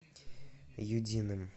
юдиным